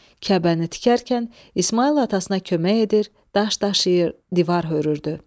Kəbəni tikərkən İsmayıl atasına kömək edir, daş daşıyır, divar hörürdü.